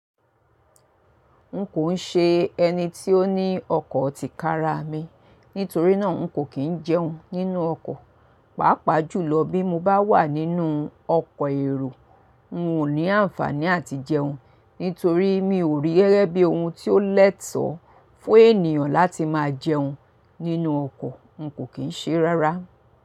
N kò ń ṣe ẹni tí ó ní ọkọ̀ tí kára mi, nítorí náà n kò kín jẹun nínú ọkọ̀. Pàápàá jùlọ bí mo bá wà nínú ọkọ̀ èrò, n ò ní àǹfàní àti jẹun. Nítorí mi ò rí gẹ́gẹ́ bí ohun tí ó lẹ́tọ̀ọ́ fún ènìyàn láti máa jẹun nínú ọkọ̀, n kò kín ṣe rárá.